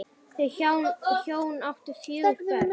Þau hjón áttu fjögur börn.